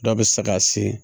Dɔw bɛ se ka se